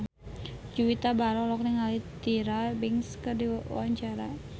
Juwita Bahar olohok ningali Tyra Banks keur diwawancara